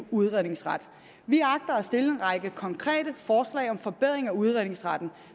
en udredningsret vi agter at stille en række konkrete forslag om forbedring af udredningsretten